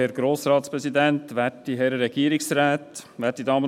Er spricht zu beiden Vorlagen.